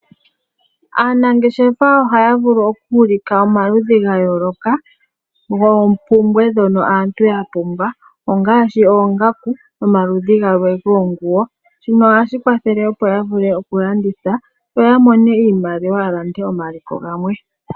Aanangeshefa ohaya vulu oku landitha omaludhi ga yooloka goompumbwe ndono aantu ya pumbwa ongaashi oongaku nomaludhi gamwe goonguwo, shino ohashi kwathele opo ya vule oku landitha, yo ya mone iimaliwa ya lande omaliko galwe.